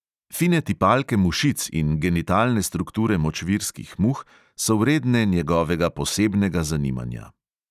Fine tipalke mušic in genitalne strukture močvirskih muh so vredne njegovega posebnega zanimanja.